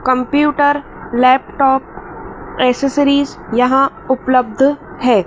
Computer laptop accessories यहां उपलब्ध है।